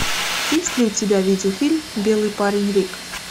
есть ли у тебя видеофильм белый парень рик